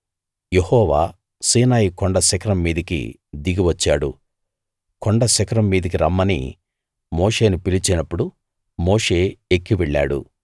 యెహోవా Sinai కొండ శిఖరం మీదికి దిగి వచ్చాడు కొండ శిఖరం మీదికి రమ్మని మోషేను పిలిచినప్పుడు మోషే ఎక్కి వెళ్ళాడు